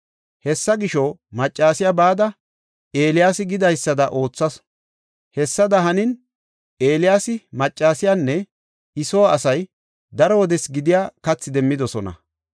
Hessa gisho, maccasiya bada, Eeliyaasi gidaysada oothasu; hessada hanin, Eeliyaasi, maccasiyanne I soo asay daro wodes gidiya kathi demmidosona.